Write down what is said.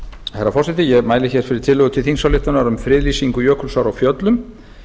herra forseti ég mæli hér fyrir tillögu til þingsályktunar um um friðlýsingu jökulsár á fjöllum